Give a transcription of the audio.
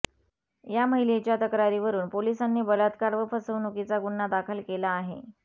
या महिलेच्या तक्रारीवरून पोलिसांनी बलात्कार व फसवणुकीचा गुन्हा दाखल केला आहे